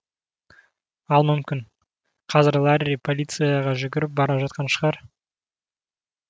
ал мүмкін қазір ларри полицияға жүгіріп бара жатқан шығар